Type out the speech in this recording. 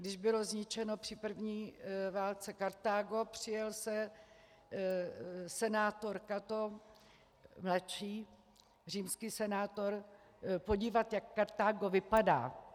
Když bylo zničeno při první válce Kartágo, přijel se senátor Cato mladší, římský senátor, podívat, jak Kartágo vypadá.